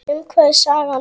Um hvað er sagan?